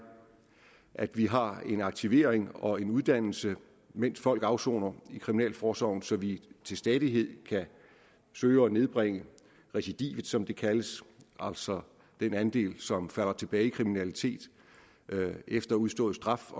at vi har en aktivering og en uddannelse mens folk afsoner i kriminalforsorgen så vi til stadighed kan søge at nedbringe recidivet som det kaldes altså den andel som falder tilbage i kriminalitet efter udstået straf